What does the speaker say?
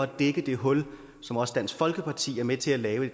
dække det hul som også dansk folkeparti er med til at lave i